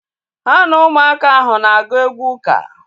Ha na ụmụaka ahụ na-agụ egwú uka